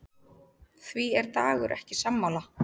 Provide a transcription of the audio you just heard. Því er Dagur ekki sammála.